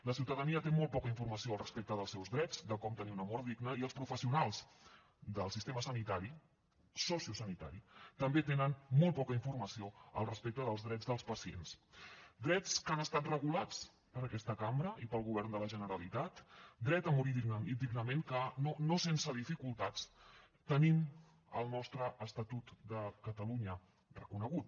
la ciutadania té molt poca informació al respecte dels seus drets de com tenir una mort digna i els professionals del sistema sanitari sociosanitari també tenen molt poca informació al respecte dels drets dels pacients drets que han estat regulats per aquesta cambra i pel govern de la generalitat dret a morir dignament que no sense dificultats tenim al nostre estatut de catalunya reconegut